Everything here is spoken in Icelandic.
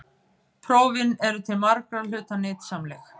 Prófin eru til margra hluta nytsamleg.